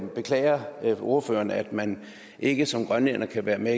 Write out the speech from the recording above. beklager ordføreren at man ikke som grønlænder kan være med